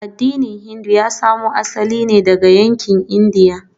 Addinin Hindu ya samo asali ne daga yankin Indiya.